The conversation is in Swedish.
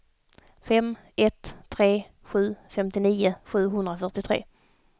fem ett tre sju femtionio sjuhundrafyrtiotre